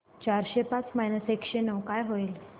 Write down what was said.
चारशे पाच मायनस एकशे नऊ काय होईल